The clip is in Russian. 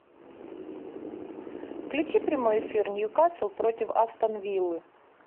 включи прямой эфир ньюкасл против астон виллы